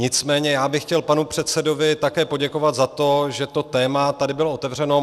Nicméně já bych chtěl panu předsedovi také poděkovat za to, že to téma tady bylo otevřeno.